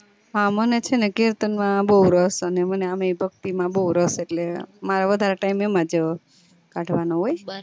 હા મને છે ને કીર્તન માં બૌ રસ અને આમય મને ભક્તિ માં બૌ રસ અટલે મી વધારે time એમજ કાઢવાનું હોય